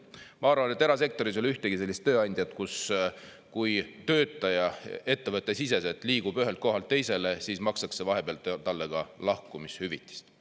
Ma arvan, et erasektoris ei ole ühtegi sellist tööandjat, kus kui töötaja ettevõttesiseselt liigub ühelt kohalt teisele, siis makstakse vahepeal talle ka lahkumishüvitist.